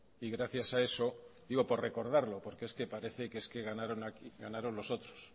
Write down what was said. y gracias a eso digo por recordarlo porque es que parece que ganaron los otros